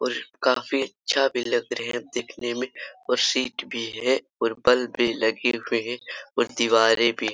और काफ्री अच्छा भी लग रहे हैं दिखने में और सीट भी है और बल्ब भी लगे हुए हैं और दीवारे भी --